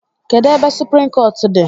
Kedụ ebe suprim kọọt dị?